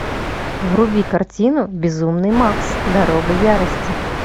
вруби картину безумный макс дорога ярости